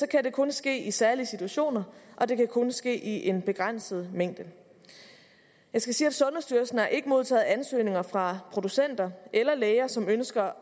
kan det kun ske i særlige situationer og det kan kun ske i en begrænset mængde jeg skal sige at sundhedsstyrelsen har ikke modtaget ansøgninger fra producenter eller læger som ønsker